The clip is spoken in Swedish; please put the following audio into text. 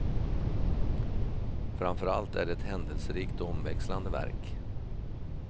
Framför allt är det ett händelserikt och omväxlande verk.